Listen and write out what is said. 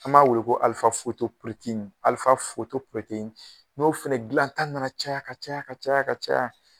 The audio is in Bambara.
An b'a weele ko n'o fana dila ta nana ka ca ka ca ka ca ka ca